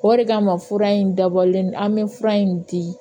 O de kama fura in dabɔlen an bɛ fura in di